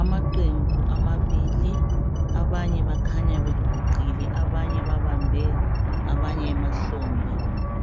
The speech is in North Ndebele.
Amaqembu amabili. Abanye bakhanya beguqile abanye babambe abanye emahlombe.